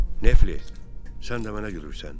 Nefli, sən də mənə gülürsən.